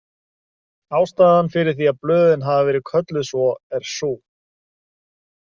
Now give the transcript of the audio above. Ástæðan fyrir því að blöðin hafa verið kölluð svo er sú.